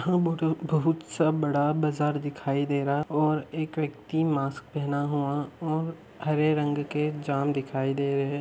बहुत - सा बड़ा बाजार दिखाई दे रहा हैं और एक व्यक्ति मास्क पेहना हुआ हैं और हरे रंग के जाम दिखाई दे रहे हैं।